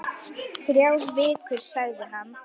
Þrjár vikur, sagði hann.